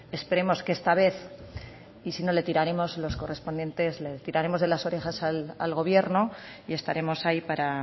esperemos que esta vez y si no le tiraremos de las orejas al gobierno y estaremos ahí para